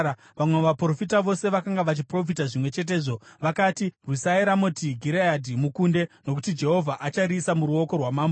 Vamwe vaprofita vose vakanga vachiprofita zvimwe chetezvo. Vakati, “Rwisai Ramoti Gireadhi mukunde, nokuti Jehovha achariisa muruoko rwamambo.”